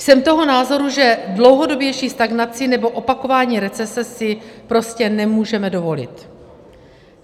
Jsem toho názoru, že dlouhodobější stagnaci nebo opakování recese si prostě nemůžeme dovolit.